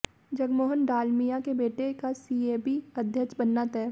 जगमोहन डालमिया के बेटे का सीएबी अध्यक्ष बनना तय